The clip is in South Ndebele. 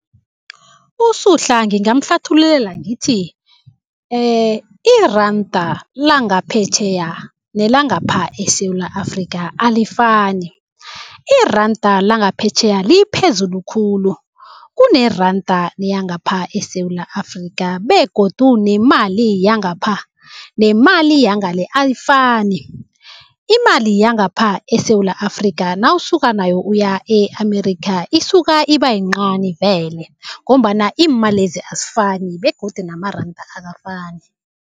USuhla ngingamhlathululela ngithi, iranda langaphetjheya nelangapha eSewula Afrika alifani. Iranda langaphetjheya liphezulu khulu kuneranda yangapha eSewula Afrika begodu nemali yangapha nemali yangale ayifani. Imali yangapha eSewula Afrika nawusuka nayo uya e-America isuka ibayincani vele ngombana iimalezi azifani begodu namaranda akafani.